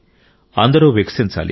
అందరూ వికసించాలి